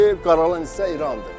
Deyir qaralan hissə İrandır.